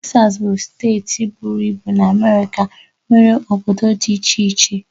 Tesas bụ steeti buru ibu na Amérika nwere obodo dị iche iche.